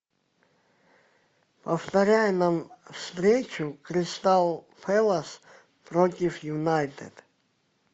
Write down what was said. повторяй нам встречу кристал пэлас против юнайтед